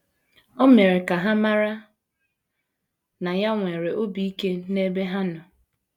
O mere ka ha mara na ya nwere obi ike n’ebe ha nọ.